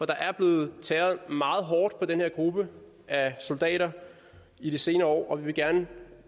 der er blevet tæret meget hårdt på den her gruppe af soldater i de senere år og vi vil gerne